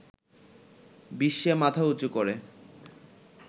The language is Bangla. বিশ্বে মাথা উঁচু করে